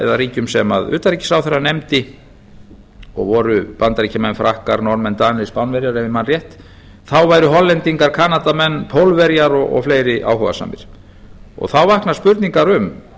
eða ríkjum sem utanríkisráðherra nefndi og voru bandaríkjamenn frakkar norðmenn danir spánverjar ef ég man rétt væru hollendingar kanadamenn pólverjar og fleiri áhugasamir þá vakna spurningar um